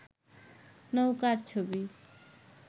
নৌকার ছবি